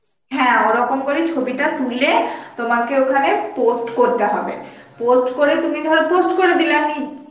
হ্যাঁ ওরকম করেই ছবিটা তুলে তোমাকে ওখানে post করতে হবে post করে তুমি ধর post করে দিলা দি~